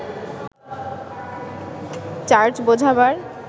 charge বোঝাবার